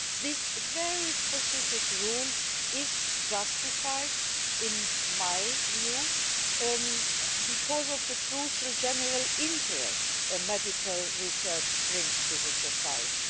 This very specific rule is justified, in my view, because of the crucial general interest which medical research brings to society.